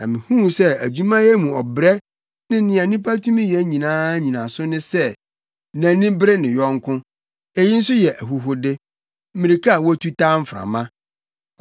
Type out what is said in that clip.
Na mihuu sɛ adwumayɛ mu ɔbrɛ ne nea onipa tumi yɛ nyinaa nnyinaso ne sɛ nʼani bere ne yɔnko. Eyi nso yɛ ahuhude, mmirika a wotu taa mframa.